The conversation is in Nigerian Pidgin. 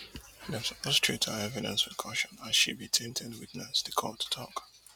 dem suppose to treat her evidence wit caution as she be tainted witness di court tok